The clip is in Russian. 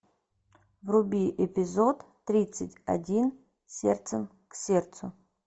вруби эпизод тридцать один сердцем к сердцу